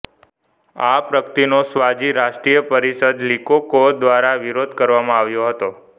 આ પ્રગતિનો સ્વાઝી રાષ્ટ્રીય પરિષદ લીકોકો દ્વારા વિરોધ કરવામાં આવ્યો હતો